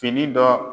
Fini dɔ